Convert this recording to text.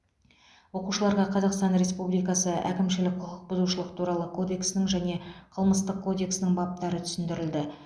оқушыларға қазақстан республикасы әкімшілік құқық бұзушылық туралы кодексінің және қылмыстық кодексінің баптары түсіндірілді